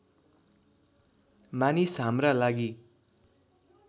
मानिस हाम्रा लागि